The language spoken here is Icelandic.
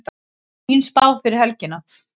Fín spá fyrir helgina